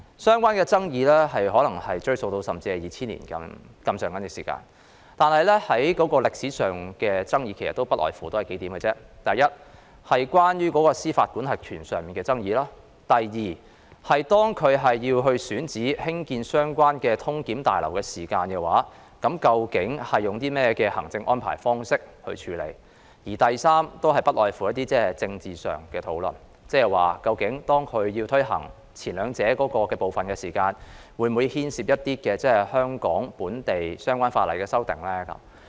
所涉爭議或可追溯至2000年，但歷史上的爭議其實不外乎數點：第一，是司法管轄權的爭議；第二，是在選址興建相關的旅檢大樓時究竟會採取甚麼行政安排處理；以及第三，是政治上的討論，意思是當政府推行前兩者時，會否涉及香港本地相關法例的修訂呢？